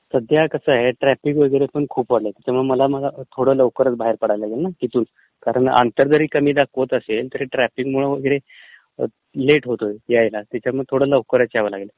सध्या कसं आहे ट्रॅफीक वगैरेपण खूप आहे, त्यामुळे मला लवकरचं बाहेर पडावं लागेल ना इथून, कारण अंतर दरी कमी दाखवत असेल तरी ट्रॅफीकमुळे वगैरे लेट होतोय यायला, त्याच्यामुळे लवकरचं यावं लागेल,